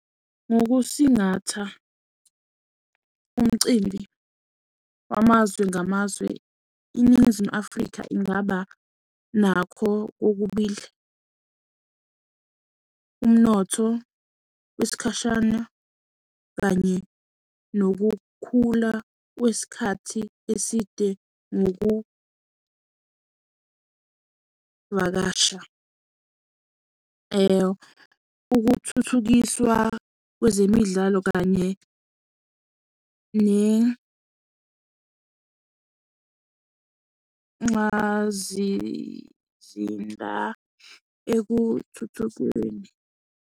Ngokusingatha umcimbi wamazwe ngamazwe iNingizimu Afrika ingaba nakho kokubili. Umnotho wesikhashana kanye nokukhula kwesikhathi eside nokuvakasha. Ukuthuthukiswa kwezemidlalo kanye nenxazizinda ekuthuthukweni.